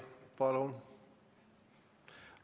Palun!